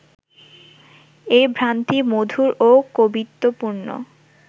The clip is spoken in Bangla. এই ভ্রান্তি মধুর ও কবিত্ব পূর্ণ